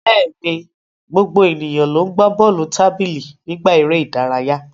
Bẹ́ẹ̀ni, gbogbo ènìyàn ló ń gbá bọ́ọ̀lù tábìlì nígbà eré ìdárayá.